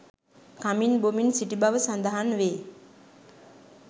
කමින් බොමින් සිටි බව සඳහන් වේ